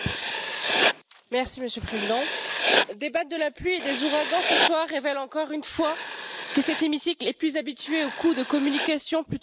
Monsieur le Président, débattre de la pluie et des ouragans ce soir révèle encore une fois que cet hémicycle est plus habitué aux coups de communication plutôt qu'à la vraie politique.